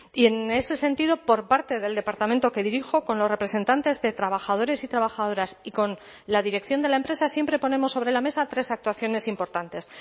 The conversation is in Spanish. y en ese sentido por parte del departamento que dirijo con los representantes de trabajadores y trabajadoras y con la dirección de la empresa siempre ponemos sobre la mesa tres actuaciones importantes